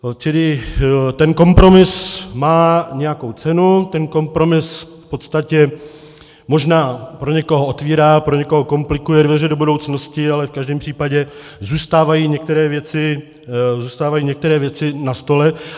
Čili ten kompromis má nějakou cenu, ten kompromis v podstatě možná pro někoho otevírá, pro někoho komplikuje dveře do budoucnosti, ale v každém případě zůstávají některé věci na stole.